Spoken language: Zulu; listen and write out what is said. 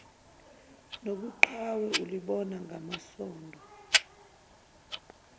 nobuqhawe ulibona ngamasondo